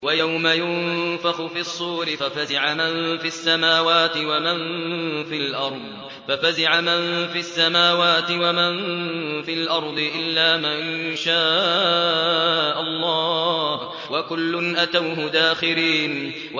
وَيَوْمَ يُنفَخُ فِي الصُّورِ فَفَزِعَ مَن فِي السَّمَاوَاتِ وَمَن فِي الْأَرْضِ إِلَّا مَن شَاءَ اللَّهُ ۚ وَكُلٌّ أَتَوْهُ دَاخِرِينَ